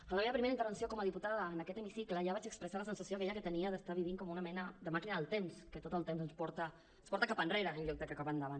en la meva primera intervenció com a diputada en aquest hemicicle ja vaig expressar la sensació aquella que tenia d’estar vivint com una mena de màquina del temps que tot el temps ens porta cap enrere en lloc de cap endavant